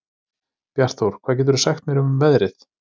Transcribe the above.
Bjartþór, hvað geturðu sagt mér um veðrið?